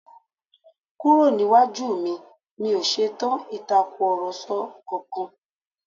Kúrò níwájú mi, mi ò ṣetán Ìtàkùrọ̀sọ kankan!